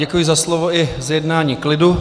Děkuji za slovo i zjednání klidu.